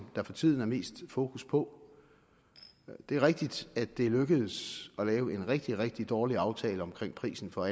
der for tiden er mest fokus på det er rigtigt at det er lykkedes at lave en rigtig rigtig dårlig aftale om prisen for